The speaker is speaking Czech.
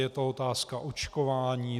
Je to otázka očkování.